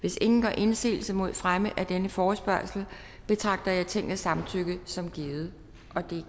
hvis ingen gør indsigelse mod fremme af denne forespørgsel betragter jeg tingets samtykke som givet